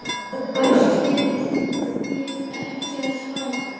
Ætlið þið ekki að svara?